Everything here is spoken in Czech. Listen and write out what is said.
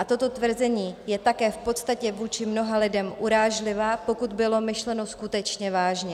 A toto tvrzení je také v podstatě vůči mnoha lidem urážlivé, pokud bylo myšleno skutečně vážně.